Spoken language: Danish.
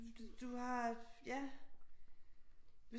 Du har ja